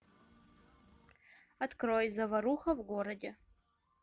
открой заваруха в городе